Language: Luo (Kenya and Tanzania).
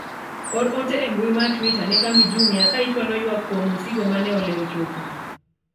or ote e mbui mar twita ne kambi jumia ka ichwalo ywak kuom osigo mane olewo chopo